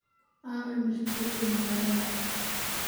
aaway milkiilihii maqaayadan?